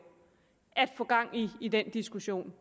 at få gang i den diskussion